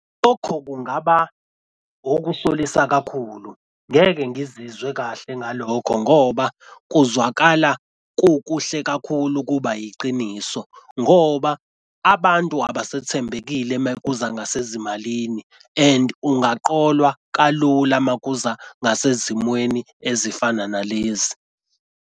Lokho kungaba okusolisa kakhulu. Ngeke ngizizwe kahle ngalokho ngoba kuzwakala kukuhle kakhulu ukuba iqiniso ngoba abantu abasathembekile uma kuza ngasezimalini and ungaqolwa kalula makuza ngase zimweni ezifana nalezi.